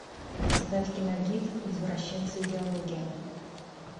поставь киногид извращенца идеология